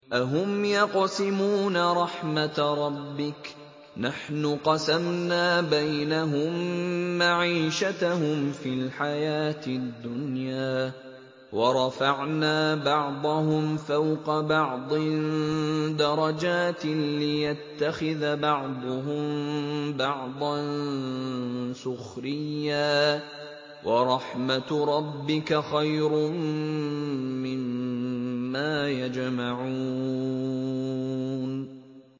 أَهُمْ يَقْسِمُونَ رَحْمَتَ رَبِّكَ ۚ نَحْنُ قَسَمْنَا بَيْنَهُم مَّعِيشَتَهُمْ فِي الْحَيَاةِ الدُّنْيَا ۚ وَرَفَعْنَا بَعْضَهُمْ فَوْقَ بَعْضٍ دَرَجَاتٍ لِّيَتَّخِذَ بَعْضُهُم بَعْضًا سُخْرِيًّا ۗ وَرَحْمَتُ رَبِّكَ خَيْرٌ مِّمَّا يَجْمَعُونَ